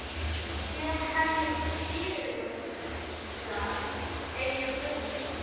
Síðan hefjast fyrirlestrar, einn af öðrum.